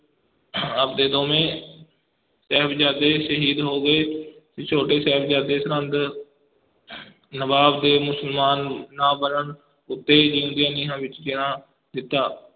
ਆਪ ਦੇ ਦੋਵੇਂ ਸਾਹਿਬਜ਼ਾਦੇ ਸ਼ਹੀਦ ਹੋ ਗਏ ਤੇ ਛੋਟੇ ਸਾਹਿਜ਼ਾਦੇ ਸਰਹੰਦ ਨਵਾਬ ਦੇ ਮੁਸਲਮਾਨ ਨਾ ਬਣਨ ਉਤੇ ਜੀਉਂਦਿਆਂ ਨੀਹਾਂ ਵਿੱਚ ਚਿਣਾ ਦਿੱਤਾ।